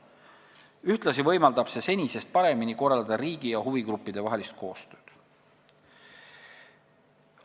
Ühtlasi võimaldab see senisest paremini korraldada riigi ja huvigruppide vahelist koostööd.